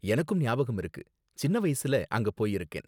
எனக்கும் ஞாபகம் இருக்கு, சின்ன வயசுல அங்க போயிருக்கேன்